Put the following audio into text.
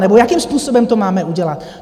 Nebo jakým způsobem to máme udělat?